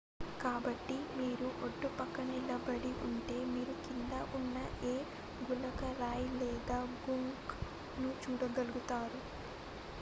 కాబట్టి మీరు ఒడ్డుపక్కన నిలబడి ఉంటే మీరు కింద ఉన్న ఏ గులకరాయిలేదా గుంక్ ను చూడగలుగుతారు